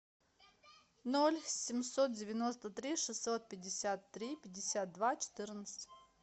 ноль семьсот девяносто три шестьсот пятьдесят три пятьдесят два четырнадцать